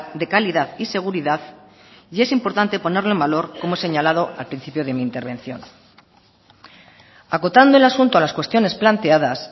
de calidad y seguridad y es importante ponerlo en valor como he señalado al principio de mi intervención acotando el asunto a las cuestiones planteadas